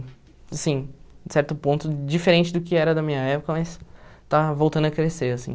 Assim, em certo ponto, diferente do que era da minha época, mas está voltando a crescer, assim.